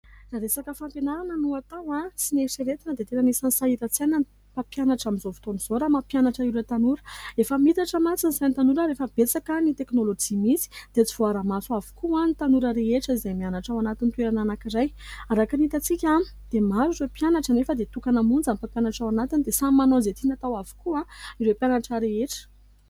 Raha resaka fampianarana no natao sy eritreretina dia tena anisany sahiran-tsaina ny mpampianatra. Amin'izao fotoan'izao raha mampianatra ireo tanora efa mihitatra mantsy ny sain'ny tanora ary efa betsaka ny teknolojia misy dia tsy voara-maso avokoa ny tanora rehetra izay mianatra ao anatiny toerana anankiray. Araka ny hitatsika dia maro ireo mpianatra anefa dia tokana monja ny mpampianatra ao anatiny dia samy manao izay tiany atao avokoa ireo mpianatra rehetra.